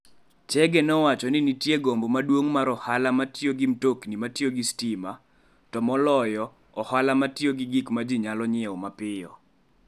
Chege nowacho ni nitie gombo maduong' mar ohala mar tiyo gi mtokni matiyo gi stima, to moloyo, ohala mar ohala ma tiyo gi gik ma ji nyalo nyiewo mapiyo.